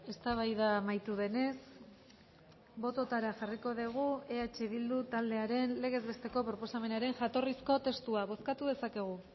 eztabaida amaitu denez bototara jarriko dugu eh bildu taldearen legez besteko proposamenaren jatorrizko testua bozkatu dezakegu